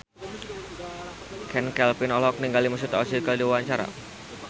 Chand Kelvin olohok ningali Mesut Ozil keur diwawancara